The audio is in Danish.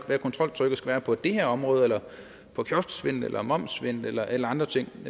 hvad kontroltrykket skal være på det her område eller på kiosksvindel eller momssvindel eller eller andre ting